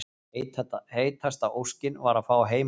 Heitasta óskin var að fá heimaleik